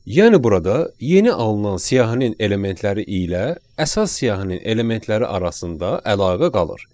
Yəni burada yeni alınan siyahının elementləri ilə əsas siyahının elementləri arasında əlaqə qalır.